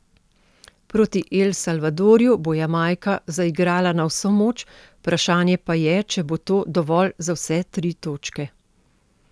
Proti El Salvadorju bo Jamajka zaigrala na vso moč, vprašanje pa je, če bo to dovolj za vse tri točke.